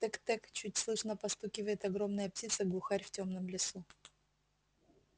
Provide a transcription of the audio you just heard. тэк-тэк чуть слышно постукивает огромная птица глухарь в тёмном лесу